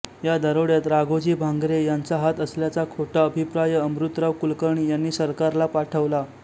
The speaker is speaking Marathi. या दरोड्यात राघोजी भांगरे यांचा हात असल्याचा खोटा अभिप्राय अमृतराव कुलकर्णी यांनी सरकारला पाठवला